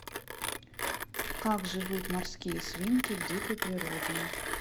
как живут морские свинки в дикой природе